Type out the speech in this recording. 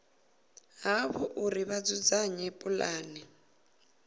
havho uri vha dzudzanye pulane